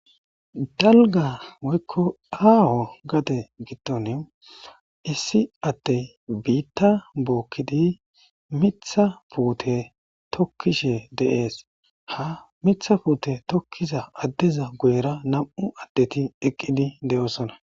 Aaho woyko dalga gade giddon issi addey biitta bookidi mithth puute tokkishe dees. Ha miththa puute tokkiza addeza guyera nam'u asati eqqidi doosona.